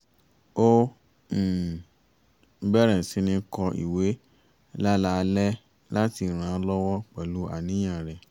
ó um bẹ̀rẹ̀ sí ní kọ ìwé láláalẹ́ láti ràn án lọ́wọ́ pẹ̀lú àníyàn rẹ̀